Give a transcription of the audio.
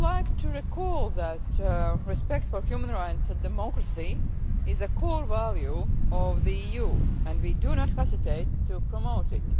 I would like to recall that respect for human rights and democracy is a core value of the EU, and we do not hesitate to promote it.